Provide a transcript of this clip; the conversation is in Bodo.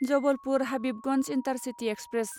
Jabalpur Habibganj intercity express